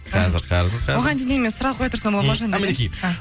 қазір қазір қазір оған дейін мен сұрақ қоя тұрсам болады ма жандаурен а мінекей